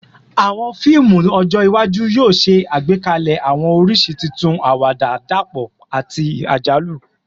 Awọn fiimu ọjọ iwaju yoo ṣe agbekalẹ awọn oriṣi tuntun, awada dapọ ati ajalu